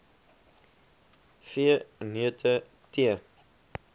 v neute tee